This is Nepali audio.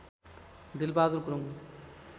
दिलबहादुर गुरुङ